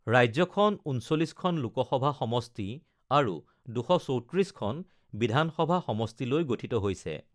ৰাজ্যখন ৩৯খন লোকসভা সমষ্টি আৰু ২৩৪খন বিধানসভা সমষ্টি লৈ গঠিত হৈছে৷